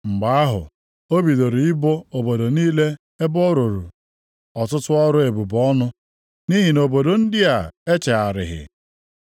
Mgbe ahụ ọ bidoro ịbụ obodo niile ebe ọ rụrụ ọtụtụ ọrụ ebube ọnụ, nʼihi na obodo ndị a echegharịghị.